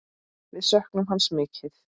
Við söknum hans mikið.